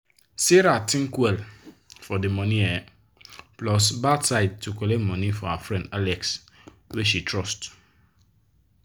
sarah think well well for de good um plus bad side to collect money for her friend alex wey she trust.